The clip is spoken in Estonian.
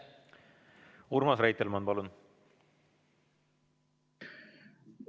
Urmas Reitelmann, palun!